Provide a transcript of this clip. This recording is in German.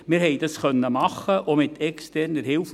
Wir konnten das machen, auch mit externer Hilfe.